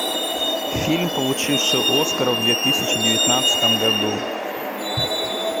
фильм получивший оскара в две тысячи девятнадцатом году